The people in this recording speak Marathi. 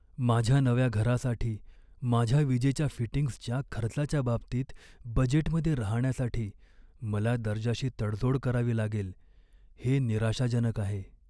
माझ्या नव्या घरासाठी माझ्या विजेच्या फिटिंग्जच्या खर्चाच्या बाबतीत बजेटमध्ये राहण्यासाठी मला दर्जाशी तडजोड करावी लागेल हे निराशाजनक आहे.